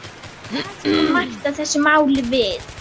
Hvað kom Marta þessu máli við?